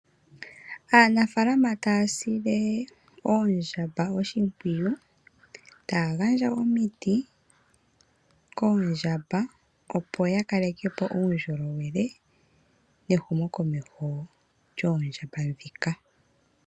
Aanafaalama taya sile oondjamba oshimpwiyu, taya gandja omiti koondjamba opo ya kaleke po uundjolowele ne hu mo komeho lyoondjamba dhika.